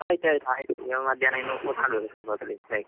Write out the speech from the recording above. ಆಯ್ತ್ ಆಯ್ತ್. ಈಗ ಮಧ್ಯಾಹ್ನ ಊಟ ಮಾಡ್ಬೇಕು ಇನ್ನು ಸ್ವಲ್ಪ ಹೊತ್ತಲ್ಲಿ ಇವಾಗ.